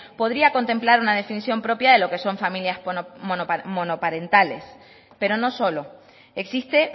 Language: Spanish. podría contemplar una definición propia de lo que son familias monoparentales pero no solo existe